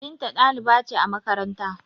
Binta dalibai ce a makaranta